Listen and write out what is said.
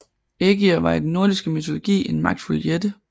Ægir var i den nordiske mytologi en magtfuld jætte